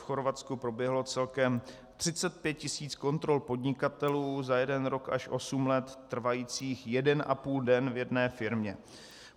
V Chorvatsku proběhlo celkem 35 tisíc kontrol podnikatelů za jeden rok až osm let trvajících jeden a půl den v jedné firmě.